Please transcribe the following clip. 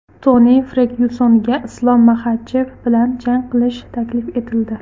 Toni Fergyusonga Islom Maxachev bilan jang qilish taklif etildi.